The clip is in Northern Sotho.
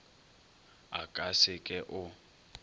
a ka se ke o